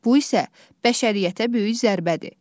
Bu isə bəşəriyyətə böyük zərbədir.